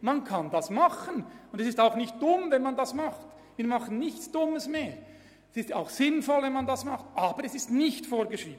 Man kann das anbieten, und es ist auch nicht dumm, dies zu tun, aber es ist nicht vorgeschrieben.